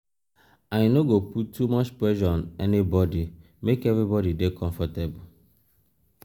i no go put too much pressure on anybodi make everybodi dey comfortable.